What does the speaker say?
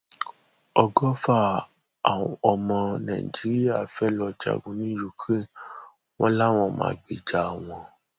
ọgọfà ọmọ nàìjíríà fẹẹ lọ jagun ní ukraine wọn làwọn máa gbèjà wọn